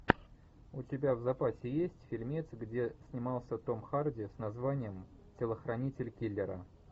у тебя в запасе есть фильмец где снимался том харди с названием телохранитель киллера